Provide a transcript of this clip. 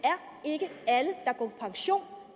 er ikke alle der går på pension